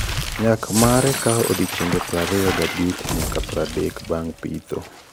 Nyak mare kao odiochienge prariyo ga bich nyaka pradek bang pitho- Nyak: tan aboro nyaka oagariyo ka eka Ford Hook Giant.